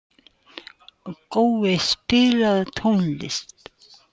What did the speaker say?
Gói, spilaðu tónlist.